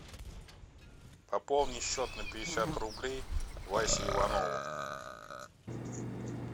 пополни счет на пятьдесят рублей васе иванову